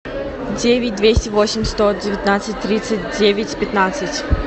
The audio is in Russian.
девять двести восемь сто девятнадцать тридцать девять пятнадцать